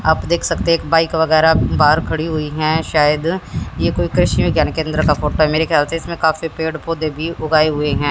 आप देख सकते एक बाइक वगैरा बाहर खड़ी हुई है शायद ये कोई कृषि विज्ञान केंद्र का फोटो मेरे ख्याल से इसमें काफी पेड़ पौधे भी उगाए हुए है।